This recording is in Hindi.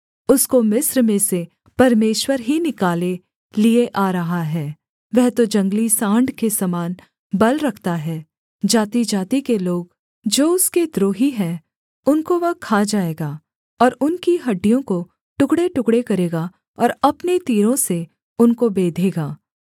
उसको मिस्र में से परमेश्वर ही निकाले लिए आ रहा है वह तो जंगली साँड़ के समान बल रखता है जातिजाति के लोग जो उसके द्रोही हैं उनको वह खा जाएगा और उनकी हड्डियों को टुकड़ेटुकड़े करेगा और अपने तीरों से उनको बेधेगा